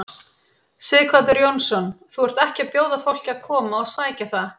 Sighvatur Jónsson: Þú ert ekki að bjóða fólki að koma og sækja það?